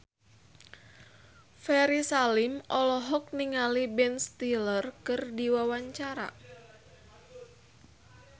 Ferry Salim olohok ningali Ben Stiller keur diwawancara